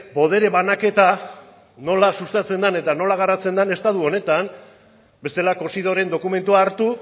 botere banaketa nola sustatzen dan eta nola garatzen den estatu honetan bestela cosidoren dokumentua hartu